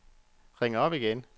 ring op igen